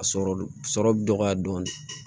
A sɔrɔ sɔrɔ bɛ dɔgɔya dɔɔnin